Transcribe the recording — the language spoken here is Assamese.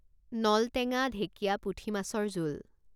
নলটেঙা ঢেঁকিয়া পুঠি মাছৰ জোল